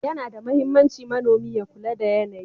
Yana da mahimmanci manomi ya kula da yanayi.